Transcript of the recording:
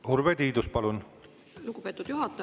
Urve Tiidus, palun!